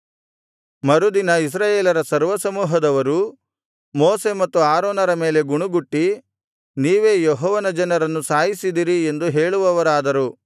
ಮರುದಿನ ಇಸ್ರಾಯೇಲರ ಸರ್ವಸಮೂಹದವರು ಮೋಶೆ ಮತ್ತು ಆರೋನರ ಮೇಲೆ ಗುಣುಗುಟ್ಟಿ ನೀವೇ ಯೆಹೋವನ ಜನರನ್ನು ಸಾಯಿಸಿದಿರಿ ಎಂದು ಹೇಳುವವರಾದರು